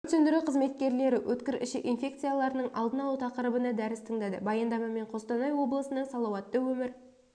өрт сөндіру қызметкерлері өткір ішек инфекцияларының алдын алу тақырыбына дәріс тыңдады баяндамамен қостанай облысының салауатты өмір